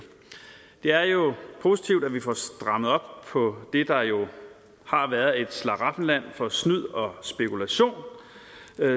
det er positivt at vi får strammet op på det der jo har været et slaraffenland for snyd og spekulation